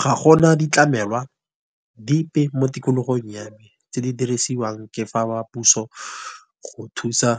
Ga gona ditlamelwa, dipe mo tikologong ya me, tse di dirisiwang ke fa ba puso go thusa